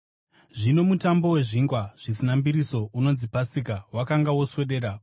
Zvino Mutambo weZvingwa Zvisina Mbiriso, unonzi Pasika, wakanga woswedera,